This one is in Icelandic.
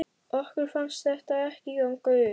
Okkur fannst þetta ekki ganga upp.